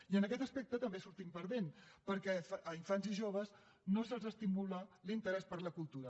i en aquest aspecte també hi sortim perdent perquè a infants i joves no se’ls estimula l’interès per la cultura